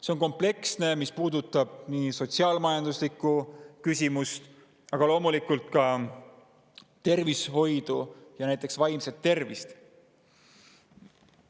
See on kompleksne ja puudutab sotsiaal-majanduslikku, aga loomulikult ka tervishoidu, näiteks vaimset tervist.